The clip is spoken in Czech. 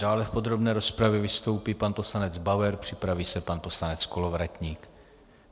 Dále v podrobné rozpravě vystoupí pan poslanec Bauer, připraví se pan poslanec Kolovratník.